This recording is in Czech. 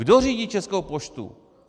Kdo řídí Českou poštu?